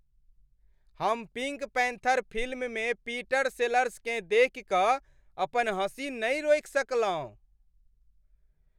हम Pink Panther फिल्ममे Peter सेलर्सकेँ देखि कऽ अपन हँसी नहि रोकि सकलहुँ।